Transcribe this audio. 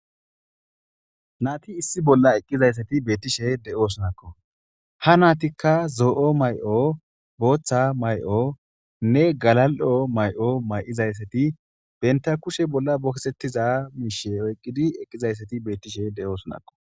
nati issi bolla eqqizayssati beettishe de7osonakko ha naatikka zoo7o may7o booththa may7o nne galal7o may7o may7izayssati benta kushe bolla bokesettiza miishe oyqqidi eqqizayssati beettishe de7oosonakko